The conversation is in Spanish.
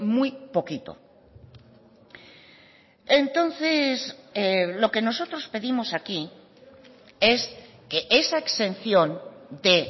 muy poquito entonces lo que nosotros pedimos aquí es que esa exención de